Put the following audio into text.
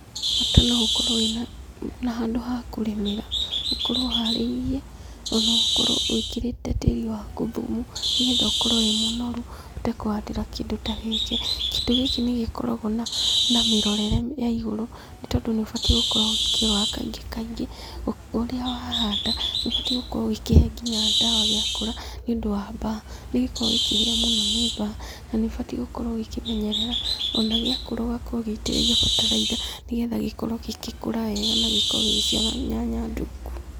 Mũndũ no ũkorwo wĩ na handũ ha kũrĩmĩra, ũkorwo ũharĩirie na ũkorwo wĩkĩrĩte tĩri waku thumu nĩ getha ũkorwo wĩ mũnoru ũhote kuhandĩra kĩndũ ta gĩkĩ. Kĩndu gĩkĩ nĩ gĩkoragwo na mĩrorere ya igũru nĩ tondũ nĩ ũbatiĩ gũkorwo ũgĩkirora kaingĩ kaingĩ. Ũrĩa wa handa, nĩ ũbatiĩ gukorwo ũgĩkĩhe nginya ndawa gĩa kũra nĩ ũndũ wa mbaa. Nĩ gĩkoragwo gĩkĩhĩa mũno nĩ mbaa na nĩ ũbatiĩ gũkorwo ũgĩkĩmenyerera ona gĩakũra ũgakorwo ũgĩitĩrĩria bataraitha nĩ getha gĩkorwo gĩgĩkũra wega na gĩkorwo gĩgĩciara nyanya ndungu.